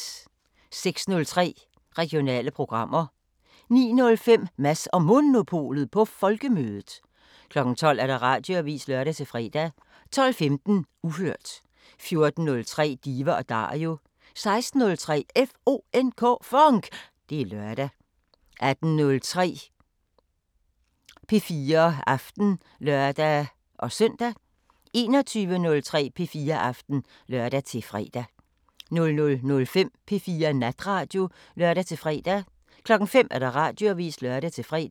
06:03: Regionale programmer 09:05: Mads & Monopolet på Folkemødet 12:00: Radioavisen (lør-fre) 12:15: Uhørt 14:03: Diva & Dario 16:03: FONK! Det er lørdag 18:03: P4 Aften (lør-søn) 21:03: P4 Aften (lør-fre) 00:05: P4 Natradio (lør-fre) 05:00: Radioavisen (lør-fre)